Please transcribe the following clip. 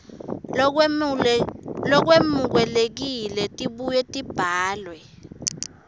lolwemukelekile tibuye tibhalwe